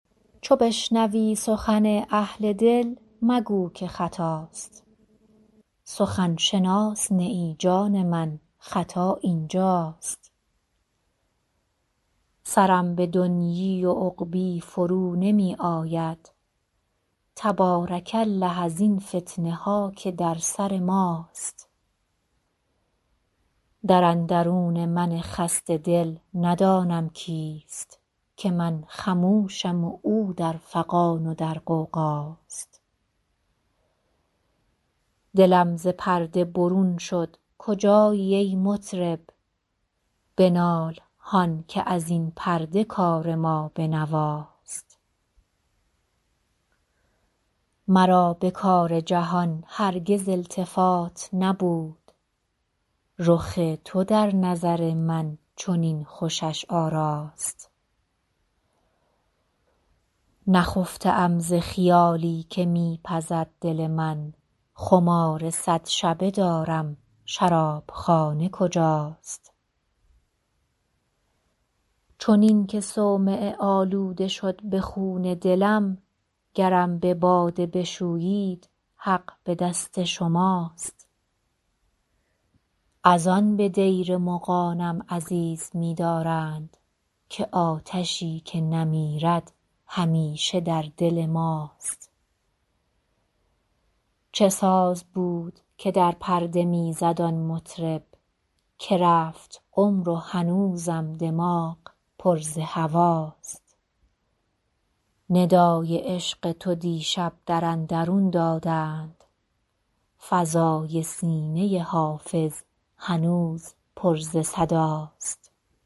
چو بشنوی سخن اهل دل مگو که خطاست سخن شناس نه ای جان من خطا این جاست سرم به دنیی و عقبی فرو نمی آید تبارک الله ازین فتنه ها که در سر ماست در اندرون من خسته دل ندانم کیست که من خموشم و او در فغان و در غوغاست دلم ز پرده برون شد کجایی ای مطرب بنال هان که از این پرده کار ما به نواست مرا به کار جهان هرگز التفات نبود رخ تو در نظر من چنین خوشش آراست نخفته ام ز خیالی که می پزد دل من خمار صد شبه دارم شراب خانه کجاست چنین که صومعه آلوده شد ز خون دلم گرم به باده بشویید حق به دست شماست از آن به دیر مغانم عزیز می دارند که آتشی که نمیرد همیشه در دل ماست چه ساز بود که در پرده می زد آن مطرب که رفت عمر و هنوزم دماغ پر ز هواست ندای عشق تو دیشب در اندرون دادند فضای سینه حافظ هنوز پر ز صداست